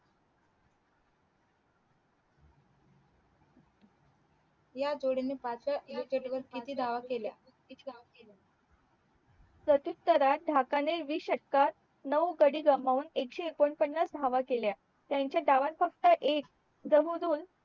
ह्या जोडी ने मात्र विकेट वर किती धाव केल्या प्रतीततारात ढाका ने वीस षटकार नऊ गाडी गमावून एकशे एक्कोन पानास धाव केल्या त्यांसही डावात फक्त एक